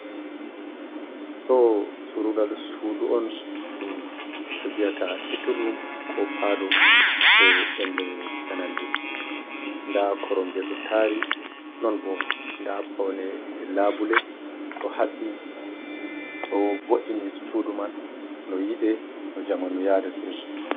Ɗo surungal sudu on ɗum ɓe viyata sitinrum ko palo je verle jananɓe. Nda koromje ɗo tari, non bo nda paune labule ɗo haɓɓi, ɗo vo’ini sudu man no yiɗe, no jamanu yadete.